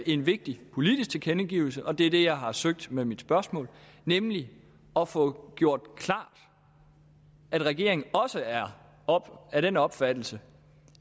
en vigtig politisk tilkendegivelse og det er det jeg har søgt med mit spørgsmål nemlig at få gjort klart at regeringen også er af den opfattelse